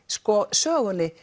sögunni